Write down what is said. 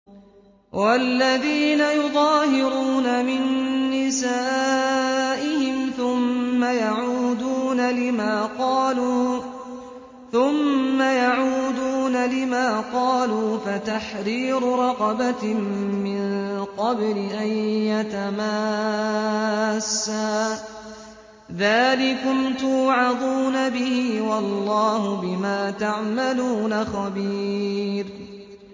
وَالَّذِينَ يُظَاهِرُونَ مِن نِّسَائِهِمْ ثُمَّ يَعُودُونَ لِمَا قَالُوا فَتَحْرِيرُ رَقَبَةٍ مِّن قَبْلِ أَن يَتَمَاسَّا ۚ ذَٰلِكُمْ تُوعَظُونَ بِهِ ۚ وَاللَّهُ بِمَا تَعْمَلُونَ خَبِيرٌ